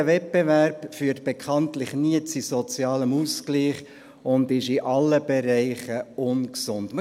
Ein unregulierter Wettbewerb führt bekanntlich nie zu sozialem Ausgleich und ist in allen Bereichen ungesund.